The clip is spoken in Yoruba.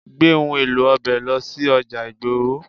Gbé òhun èlò ọbẹ̀ lọ sí ọjà ìgboro.